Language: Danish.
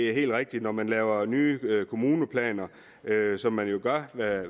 er helt rigtigt at når man laver nye kommuneplaner som man jo gør